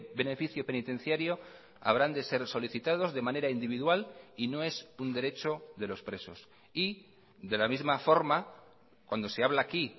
beneficio penitenciario habrán de ser solicitados de manera individual y no es un derecho de los presos y de la misma forma cuando se habla aquí